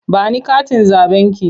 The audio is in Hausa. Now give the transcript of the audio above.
Ba ni katin zaɓenki!